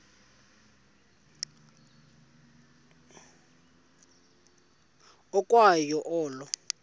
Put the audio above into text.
ukwa yo olo